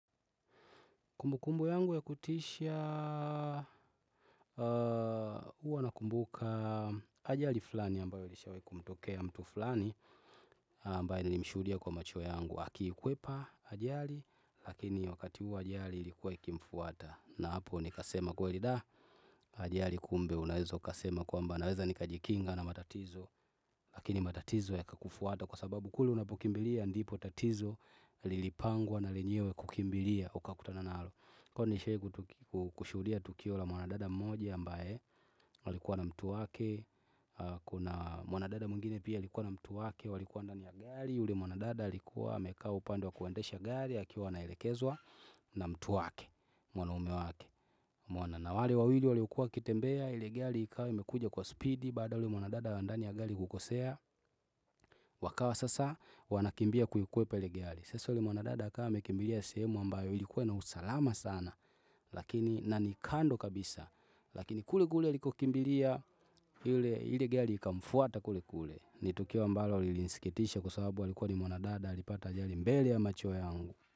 Kumbukumbu yangu ya kutisha huwa nakumbuka ajali flani ambayo ilishawahi kumtokea mtu flani ambayo nilimshuhudia kwa macho yangu akikwepa ajali lakini wakati huu wa ajali ilikuwa ikimfuata na hapo nikasema kweli da ajali kumbe unaweza ukasema kwamba naweza nikajikinga na matatizo lakini matatizo yakakufuata kwa sababu kule unapokimbilia ndipo tatizo lilipangwa na lenyewe kukimbilia ukakutana nalo Kwani nishahi kushudia tukio la mwanadada mmoja ambaye walikuwa na mtu wake Kuna mwanadada mwingine pia alikuwa na mtu wake walikuwa ndani ya gari ule mwanadada alikuwa amekaa upande wa kuendesha gari akiwa anaelekezwa na mtu wake Mwanaume wake Mwana na wale wawili waliokua wakitembea ile gari ikawa imekuja kwa spidi Baada ya yule mwanadada wa ndani ya gari kukosea Wakawa sasa wanakimbia kuikwepa ile gari Sasa ule mwanadada akawa amekimbilia sehemu ambayo ilikuwa na usalama sana lakini na ni kando kabisa lakini kule kule alikokimbilia ile gari ikamfuata kule kule ni tukio ambalo lilisikitisha kwa sababu alikuwa n ni mwanadada alipata ajali mbele ya macho yangu.